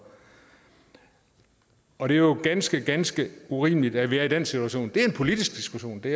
og det er jo ganske ganske urimeligt at vi er i den situation det er en politisk diskussion det